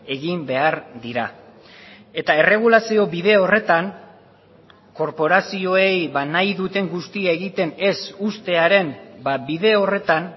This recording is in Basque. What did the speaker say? egin behar dira eta erregulazio bide horretan korporazioei nahi duten guztia egiten ez uztearen bide horretan